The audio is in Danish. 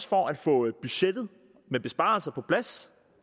for at få budgettet med besparelser på plads